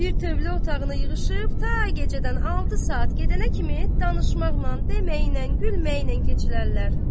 Bir tövlə otağına yığışıb ta gecədən altı saat gedənə kimi danışmaqla, deməklə, gülməklə keçirərlər.